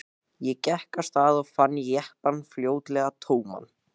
Ég gekk af stað og fann jeppann fljótlega tóman.